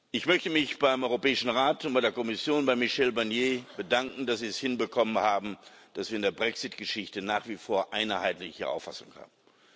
Ich möchte mich beim Europäischen Rat und bei der Kommission, bei Michel Barnier, bedanken, dass sie es hinbekommen haben, dass wir in der Brexit Geschichte nach wie vor eine einheitliche Auffassung haben.